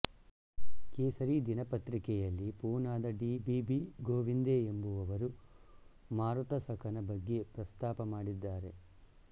ಕೇಸರಿ ದಿನಪತ್ರಿಕೆಯಲ್ಲಿ ಪೂನಾದ ಡಿ ಬಿ ಬಿ ಗೋವಿಂದೆ ಎಂಬುವವರು ಮಾರುತಸಖನ ಬಗ್ಗೆ ಪ್ರಸ್ತಾಪ ಮಾಡಿದ್ದಾರೆ